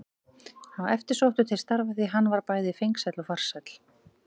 Hann var eftirsóttur til starfa því að hann var bæði fengsæll og farsæll.